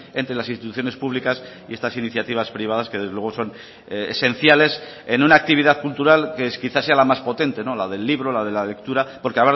entre las instituciones públicas y estas iniciativas privadas que desde luego son esenciales en una actividad cultural que es quizás sea la más potente la del libro la de la lectura porque